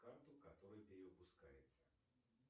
карту которая перевыпускается